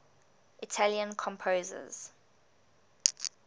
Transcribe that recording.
italian composers